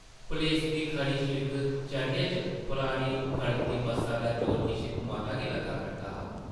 पलेसमीं खड़ी सिड़क चढ़ने च परानी खड़कदी बस्सा दा जोर किश मता गै लग्गा करदा हा ।